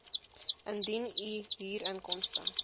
indien u huurinkomste